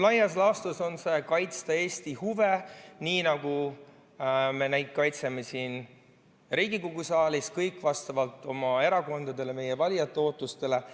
Laias laastus on eesmärk kaitsta Eesti huve, nii nagu me neid kaitseme siin Riigikogu saalis, kõik vastavalt oma erakondadele ja meie valijate ootustele.